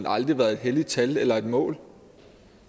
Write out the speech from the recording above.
aldrig været et helligt tal eller et mål